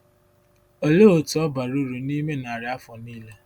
Olee otú ọ bara uru n’ime narị afọ nile?